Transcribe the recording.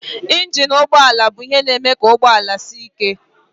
Njin nke ụgbọ ala bụ ihe na-eme ka ụgbọ ala dị ike.